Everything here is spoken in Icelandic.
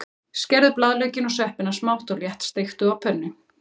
Skerðu blaðlaukinn og sveppina smátt og léttsteiktu á pönnu.